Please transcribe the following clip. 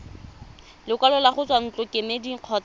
lekwalo go tswa ntlokemeding kgotsa